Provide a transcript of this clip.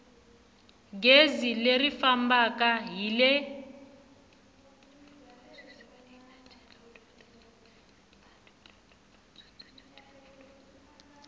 gezi leri fambaka hi le